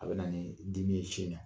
A bɛ na nii dimi ye sin na.